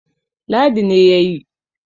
Ladi ne ya yi